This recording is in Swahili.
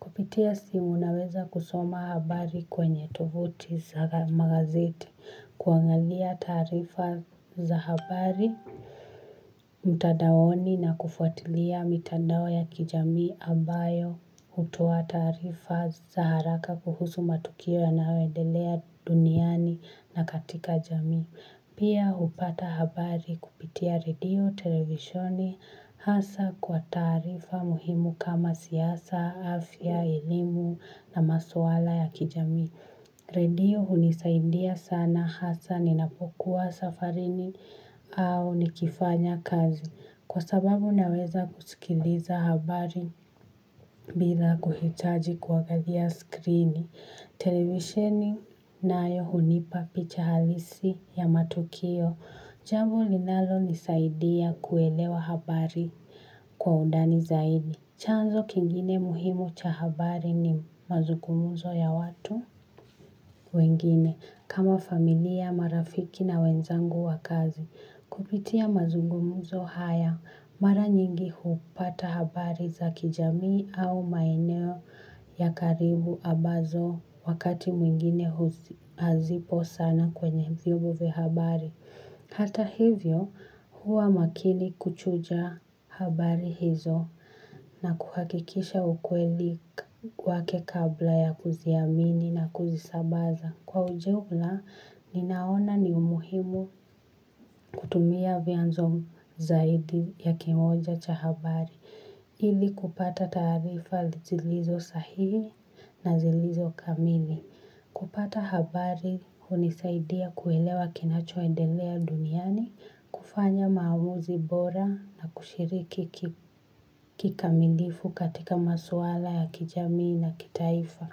Kupitia simu unaweza kusoma habari kwenye tovuti za magazeti. Kuangalia taarifa za habari. Mtadaoni na kufuatilia mitandao ya kijamii ambayo hutoa taarifa za haraka kuhusu matukio yanayo endelea duniani na katika jami. Pia hupata habari kupitia redio, televisheni hasa kwa taarifa muhimu kama siasa, afya, elimu na maswala ya kijamii. Redio hunisaidia sana hasa ninapokua safarini au nikifanya kazi. Kwa sababu naweza kusikiliza habari bila kuhitaji kuangalia skrini. Televisheni nayo hunipa picha halisi ya matukio. Jambo linalo nisaidia kuelewa habari kwa undani zaidi. Chanzo kingine muhimu cha habari ni mazugumuzo ya watu wengine kama familia, marafiki na wenzangu wa kazi. Kupitia mazungumuzo haya mara nyingi hupata habari za kijamii au maeneo ya karibu ambazo wakati mwingine hazipo sana kwenye vyombo vya habari. Hata hivyo huwa makini kuchuja habari hizo na kuhakikisha ukweli wake kabla ya kuziamini na kuzisambaza. Kwa ujumla, ninaona ni umuhimu kutumia vyanzo zaidi ya kimoja cha habari ili kupata taarifa zilizo sahihi na zilizo kamili. Kupata habari hunisaidia kuelewa kinacho endelea duniani, kufanya maamuzi bora na kushiriki kikamilifu katika maswala ya kijamii na kitaifa.